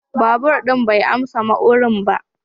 Babur din bai amsa ma'urin ba.